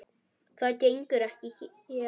Það gengur ekki hér.